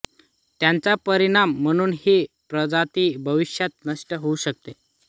याचा परिणाम म्हणून ही प्रजाती भविष्यात नष्ट होऊ शकते